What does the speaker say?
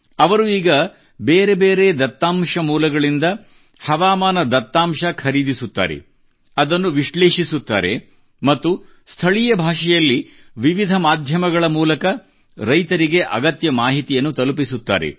ಅವರು ಈಗ ಬೇರೇ ಬೇರೆ ದತ್ತಾಂಶ ಮೂಲಗಳಿಂದ ಹವಾಮಾನ ದತ್ತಾಂಶ ಖರೀದಿಸುತ್ತಾರೆ ಅದನ್ನು ವಿಶ್ಲೇಷಿಸುತ್ತಾರೆ ಮತ್ತು ಸ್ಥಳೀಯ ಭಾಷೆಯಲ್ಲಿ ವಿವಿಧ ಮಾಧ್ಯಮಗಳ ಮೂಲಕ ರೈತರಿಗೆ ಅಗತ್ಯ ಮಾಹಿತಿಯನ್ನು ತಲುಪಿಸುತ್ತಾರೆ